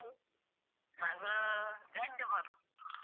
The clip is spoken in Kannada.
ಮಗು ಗಂಡು ಮಗು.